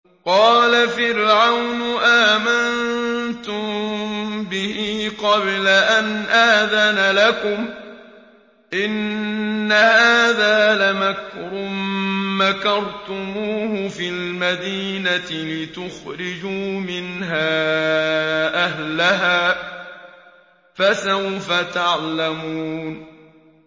قَالَ فِرْعَوْنُ آمَنتُم بِهِ قَبْلَ أَنْ آذَنَ لَكُمْ ۖ إِنَّ هَٰذَا لَمَكْرٌ مَّكَرْتُمُوهُ فِي الْمَدِينَةِ لِتُخْرِجُوا مِنْهَا أَهْلَهَا ۖ فَسَوْفَ تَعْلَمُونَ